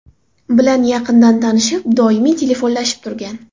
bilan yaqindan tanishib, doimiy telefonlashib turgan.